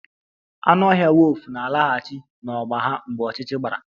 Anụ ọhịa wulfu na-alaghachi n'ọgba ha mgbe ọchịchịrị gbara